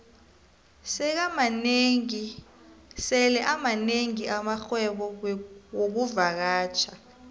sele amanengi amarhwebo wexkuvakatjha